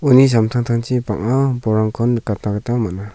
uni samtangtangchi bang·a bolrangkon nikatna gita man·a.